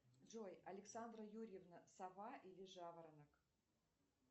джой александра юрьевна сова или жаворонок